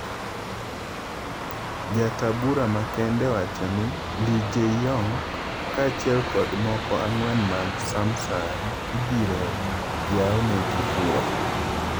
Jataa bura makende owachoni, Lee Jay-yong, kaa achiel kod moko ang'wen mag Sumsang ibiro yawnegi bura.